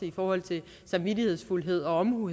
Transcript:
i forhold til samvittighedsfuldhed og omhu